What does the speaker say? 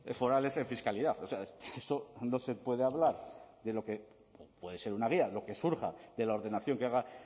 forales en fiscalidad o sea eso no se puede hablar de lo que puede ser una guía lo que surja de la ordenación que haga